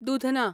Dudhna